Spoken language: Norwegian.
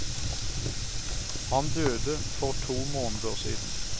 Han døde for to måneder siden.